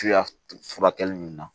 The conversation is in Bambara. Tuya furakɛli nunnu na